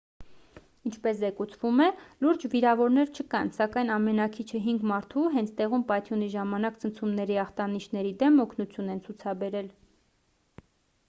ինչպես զեկուցվում է լուրջ վիրավորներ չկան սակայն ամենաքիչը հինգ մարդու հենց տեղում պայթյունի ժամանակ ցնցումների ախտանիշների դեմ օգնություն են ցացուցաբերել